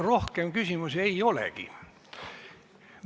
Rohkem küsimusi ei olegi.